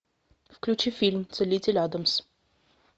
включи фильм целитель адамс